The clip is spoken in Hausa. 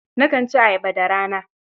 Nakan ci ayaba da rana